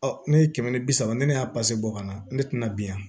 ne ye kɛmɛ ni bi saba ne y'a bɔ ka na ne tɛna bi yan